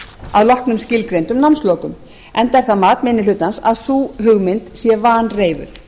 að loknum skilgreindum námslokum enda er það mat minni hlutans að sú hugmynd sé vanreifuð